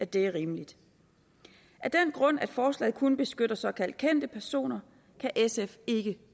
det er rimeligt af den grund at forslaget kun beskytter såkaldt kendte personer kan sf ikke